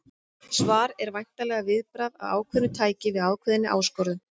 Svar er væntanlega viðbragð af ákveðnu tæi við ákveðinni áskorun.